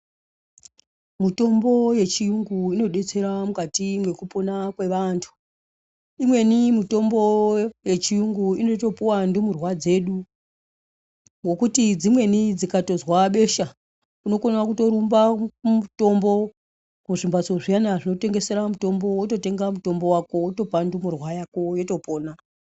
Mitombo yechiyungu inobetsera mukati mwekupona kweantu. Imweni mitombo yechiyungu inotopuva ndumurwa dzedu. Ngokuti dzimweni dzikatozwa beshe unokona kutorumba mutombo kuzvimhatso zviyana zvinotengesera mitombo vako votopa ndumurwa yako votopona.